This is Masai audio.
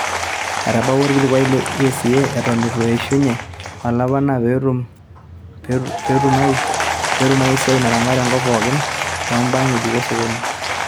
Etabawua olkilikuai le ECA eton itu eishunye olapa enaa peetum ai siaai naramat ekop pookin too mbaa ngejuko osokoni